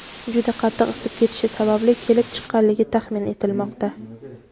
juda qattiq isib ketishi sababli kelib chiqqanligi taxmin etilmoqda.